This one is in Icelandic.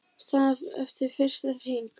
Staðan eftir fyrsta hring